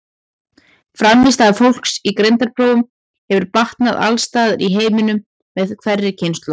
Frammistaða fólks í greindarprófum hefur batnað alls staðar í heiminum með hverri kynslóð.